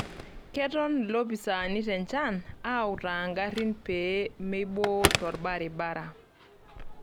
Keton lopisaani tenchan autaa ngarin pee meiboo tolbaribara.